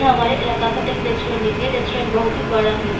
ये हमारे इलाका का एक रेस्टोरेंट है ये रेस्टोरेंट बहुत ही बड़ा है --